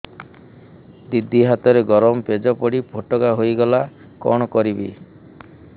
ଦିଦି ହାତରେ ଗରମ ପେଜ ପଡି ଫୋଟକା ହୋଇଗଲା କଣ କରିବି